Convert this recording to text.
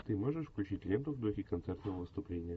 ты можешь включить ленту в духе концертного выступления